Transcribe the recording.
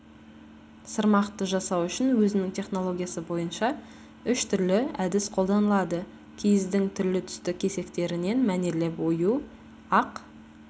сырмақты жасау үшін өзінің технологиясы бойынша үш түрлі әдіс қолданылады киіздің түрлі-түсті кесектерінен мәнерлеп ою ақ